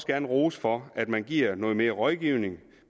gerne rose for at man giver noget mere rådgivning